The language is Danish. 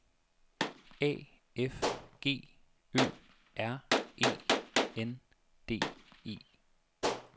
A F G Ø R E N D E